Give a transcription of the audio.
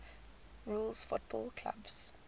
rules football clubs